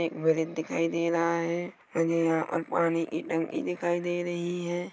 एक ब्रिज दिखाई दे रहा है मुझे यहाँ पानी की टंकी दिखाई दे रही है।